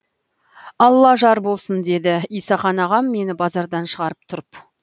алла жар болсын деді исақан ағам мені базардан шығарып тұрып